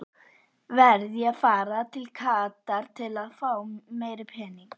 Verð ég að fara til Katar til fá meiri pening?